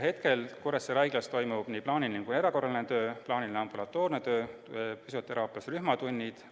Hetkel toimub Kuressaare Haiglas nii plaaniline kui ka erakorraline töö, toimub plaaniline ambulatoorne töö, füsioteraapias on rühmatunnid.